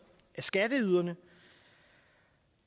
af skatteyderne